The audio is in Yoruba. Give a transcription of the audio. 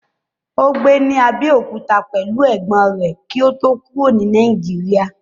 Ó gbé ní Abẹ́òkúta pẹ̀lú ẹ̀gbọ́n rẹ̀ kí ó tó kúrò ní Nàìjíríà.